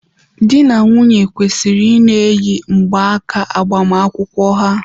Di na nwunye kwesịrị ị na-eyi mgbaaka agbamakwụkwọ ha.